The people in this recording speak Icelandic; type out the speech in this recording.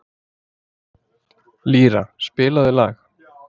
Lýra, spilaðu lag.